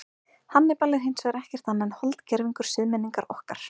Hannibal er hins vegar ekkert annað en holdgervingur siðmenningar okkar.